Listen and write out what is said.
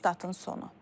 Statın sonu.